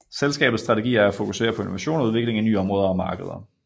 Selskabets strategi er at fokusere på innovation og udvikling i nye område og markeder